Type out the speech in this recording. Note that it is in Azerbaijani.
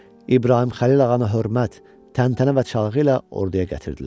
İbrahim Xəlil ağanı hörmət, təntənə və çalğı ilə orduya gətirdilər.